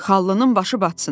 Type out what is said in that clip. Xallının başı batsın.